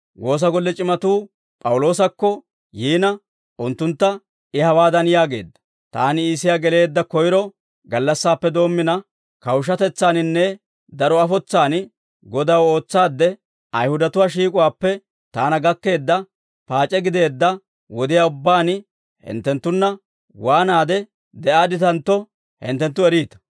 Woosa golle c'imatuu P'awuloosakko yiina, unttuntta I hawaadan yaageedda; «Taani Iisiyaa geleedda koyro gallassaappe doommina, kawushshatetsaaninne daro afotsaan Godaw ootsaadde, Ayihudatuwaa shiik'uwaappe taana gakkeedda paac'e gideedda wodiyaa ubbaan hinttenttunna waanaade de'aadditantto hinttenttu eriita.